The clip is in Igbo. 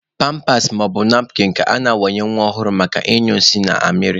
Pampas maọbụ napkịn ka a na-awanye nwa ọhụrụ maka ịnyụ nsị na amịrị.